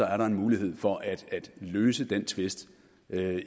er der en mulighed for at løse den tvist